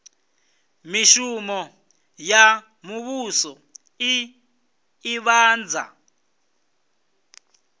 mishumo ya muvhuso i ḓivhadza